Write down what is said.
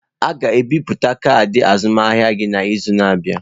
A ga-ebipụta kaadị azụmahịa gị n'izu na-abịa.